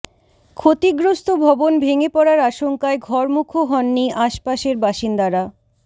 ক্ষতিগ্রস্ত ভবন ভেঙে পড়ার আশঙ্কায় ঘরমুখো হননি আশপাশের বাসিন্দারা